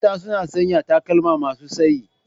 Mata suna sanya takalma masu tsayi.